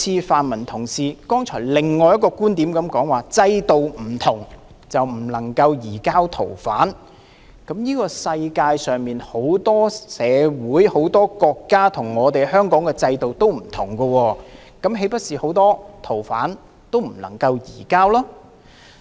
泛民同事剛才提出的另一觀點就是，制度不同便不能夠移交逃犯，但世界上很多社會、很多國家跟香港的制度不同，那麼，豈不是很多逃犯都不能夠移交？